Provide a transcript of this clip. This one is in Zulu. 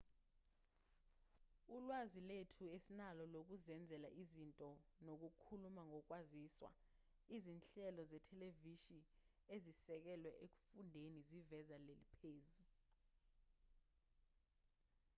ulwazi lethu esinalo lokuzenzela izinto nokukhuluma ngokwaziswa izinhlelo zethelevishini ezisekelwe ekufundeni ziveza leli phuzu